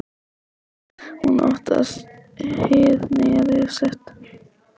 Hún óttast hið nýja líf sitt.